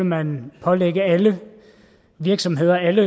man pålægge alle virksomheder alle